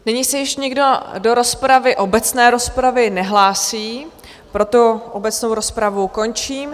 Nyní se již nikdo do rozpravy, obecné rozpravy, nehlásí, proto obecnou rozpravu končím.